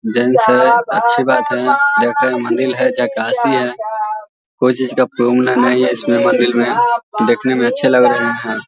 Gents है अच्छी बात है देखो ये मन्दिर है झकासी है कोई चीज का प्रोब्लम नही है इसमें मन्दिर में देखने में अच्छे लग रहे है ।